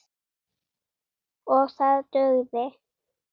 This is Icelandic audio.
OG ÞAÐ DUGÐI.